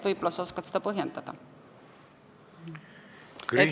Võib-olla sa oskad selgitada?